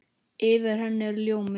Yfir henni er ljómi.